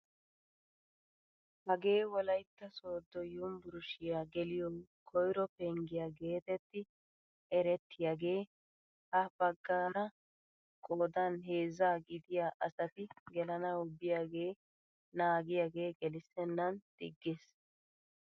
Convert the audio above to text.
Hagee wolaytta sooddo yunbburushiyaa geliyoo koyro penggiyaa getetti erettiyaagee ha baggaara qoodan heezzaa gidiyaa asati gelanawu biyaagee naagiyaage gelissenan diggiis!